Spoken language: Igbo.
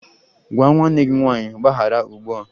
Gwa nwanne gị nwanyị mgbaghara ugbu a!